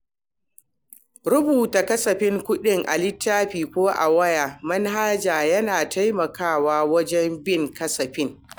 Rubuta kasafin kuɗi a littafi ko a wata manhaja yana taimakawa wajen bin kasafin.